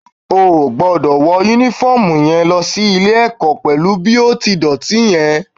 O ò gbọ́dọ̀ wọ Únífọ́ọ̀mù yẹn lọ sí ilé-ẹ̀kọ́ pẹ̀lú bí ó ti dọ̀tí yẹn